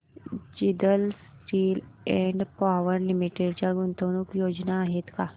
Jindal steel and power limited च्या गुंतवणूक योजना आहेत का